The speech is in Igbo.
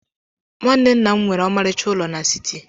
Nwanne nna m nwere ọmarịcha ụlọ n'siti.